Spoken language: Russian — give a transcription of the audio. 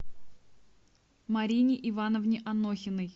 марине ивановне анохиной